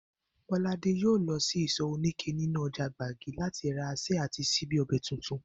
Bó̩ládé yóò lo̩ sí ìsò̩ oníké nínú o̩jà Gbági láti ra asé̩ àti s̩íbí o̩bè̩ tuntun